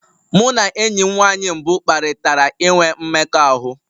Mụ na enyi m nwanyị mbụ kparịtara inwe mmekọahụ.